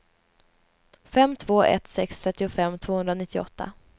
fem två ett sex trettiofem tvåhundranittioåtta